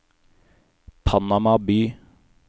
Panama by